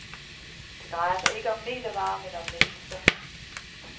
Det drejer sig ikke om metervarer, men om mennesker.